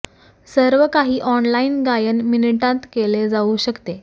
सर्व काही ऑनलाइन गायन मिनिटांत केले जाऊ शकते